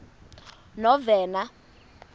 novena